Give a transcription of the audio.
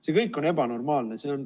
See kõik on ebanormaalne.